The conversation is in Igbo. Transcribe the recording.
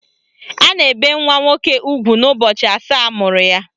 A na-ebe nwa nwoke ugwu n'ụbọchị asaa amụrụ ya.